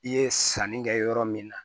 I ye sanni kɛ yɔrɔ min na